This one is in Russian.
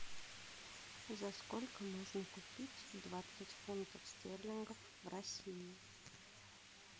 за сколько можно купить двадцать фунтов стерлингов в россии